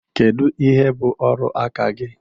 Kedu ihe bụ ọrụ aka gị?